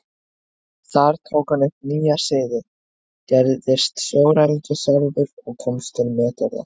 Þar tók hann upp nýja siði, gerist sjóræningi sjálfur og komst til metorða.